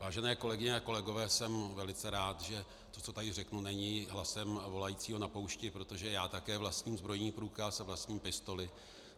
Vážené kolegyně a kolegové, jsem velice rád, že to, co tady řeknu, není hlasem volajícího na poušti, protože já také vlastním zbrojní průkaz a vlastním pistoli.